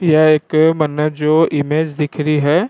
यह एक मैंने जो इमेज दिख रही है।